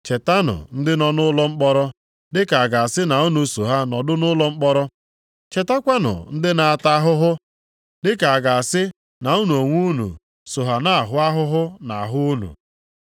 Chetanụ ndị nọ nʼụlọ mkpọrọ dị ka a ga-asị na unu so ha nọdụ nʼụlọ mkpọrọ. Chetakwanụ ndị a na-ata ahụhụ, dịka a ga-asị na unu onwe unu so ha na-ahụ ahụhụ nʼahụ unu.